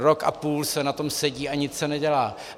Rok a půl se na tom sedí a nic se nedělá.